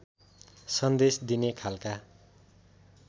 सन्देश दिने खालका